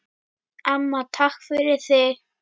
Amma, takk fyrir þig.